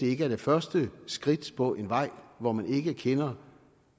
ikke er det første skridt på en vej hvor man ikke kender